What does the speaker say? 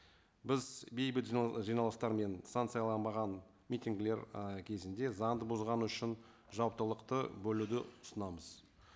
біз бейбіт жиналыстар мен санкцияланбаған митингілер ы кезінде заңды бұзғаны үшін жауаптылықты бөлуді ұсынамыз